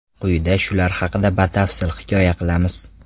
Quyida shular haqida batafsil hikoya qilamiz.